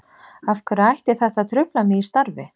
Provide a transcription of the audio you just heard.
Af hverju ætti þetta að trufla mig í starfi?